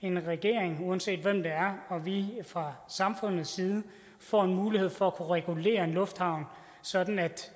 en regering uanset hvem det er og vi fra samfundets side får mulighed for at regulere en lufthavn sådan at